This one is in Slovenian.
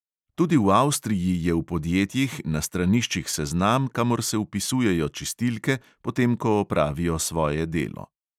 Tudi v avstriji je v podjetjih na straniščih seznam, kamor se vpisujejo čistilke, potem ko opravijo svoje delo.